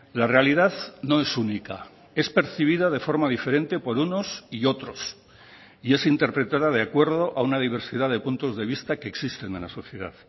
la realidad no es única es percibida de forma diferente por unos y otros y es interpretada de acuerdo a una diversidad de puntos de vista que existen en la sociedad